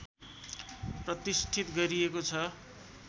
प्रतिष्ठित गरिएको छ